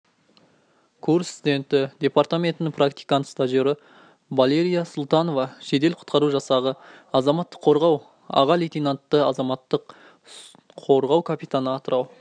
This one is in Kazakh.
курс студенті департаментінің практикант-стажері валерия султанова жедел-құтқару жасағы азаматтық қорғау аға лейтенанты азаматтық қорғау капитаны атырау